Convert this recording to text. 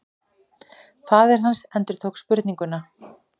Faðir hans endurtók spurninguna.